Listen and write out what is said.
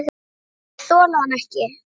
Þeir þola hann ekki.